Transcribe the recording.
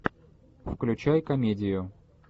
включай комедию